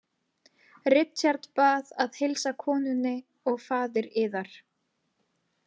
Richard Bið að heilsa konunni og faðir yðar.